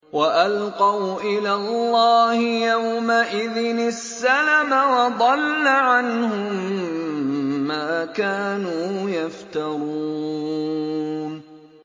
وَأَلْقَوْا إِلَى اللَّهِ يَوْمَئِذٍ السَّلَمَ ۖ وَضَلَّ عَنْهُم مَّا كَانُوا يَفْتَرُونَ